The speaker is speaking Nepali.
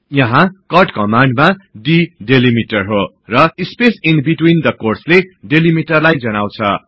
यहाँ कट कमान्डमा d डिलिमिटर हो र स्पेस ईन बिट्विन द कोट्सले डिलिमिटरलाई जनाउछ